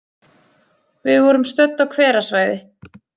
Við vorum stödd á hverasvæði.